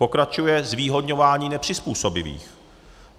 Pokračuje zvýhodňování nepřizpůsobivých.